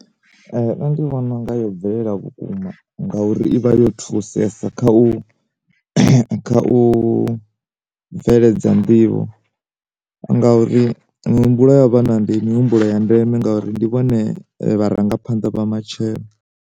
Nṋe ndi vhona unga yo bvelela vhukuma ngauri ivha yo thusesa kha u kha u bveledza nḓivho, ngauri muhumbulo ya vha na ndi mihumbulo ya ndeme ngauri ndi vhone vha rangaphanḓa vha matshelo.